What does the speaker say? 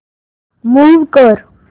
move कर